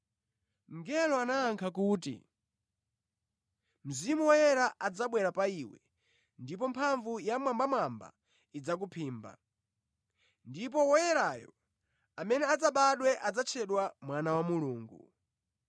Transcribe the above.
Mngelo anayankha kuti, “Mzimu Woyera adzabwera pa iwe ndipo mphamvu ya Wammwambamwamba idzakuphimba, ndipo Woyerayo amene adzabadwe adzatchedwa Mwana wa Mulungu.